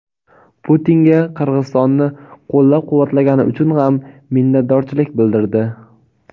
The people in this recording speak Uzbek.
Putinga "Qirg‘izistonni qo‘llab-quvvatlagani" uchun ham minnatdorlik bildirdi.